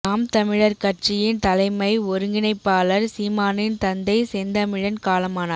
நாம் தமிழர் கட்சியின் தலைமை ஒருங்கிணைப்பாளர் சீமானின் தந்தை செந்தமிழன் காலமானார்